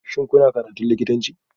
Shin kuna karatun likitanci?